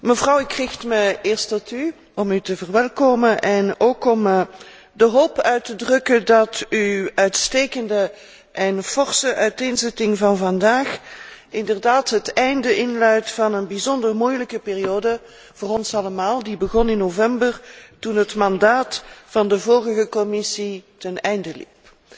Mevrouw, ik richt mij eerst tot u om u te verwelkomen en ook om de hoop uit te drukken dat uw uitstekende en forse uiteenzetting van vandaag inderdaad het einde inluidt van een bijzonder moeilijke periode voor ons allemaal, die begon in november, toen het mandaat van de vorige Commissie ten einde liep.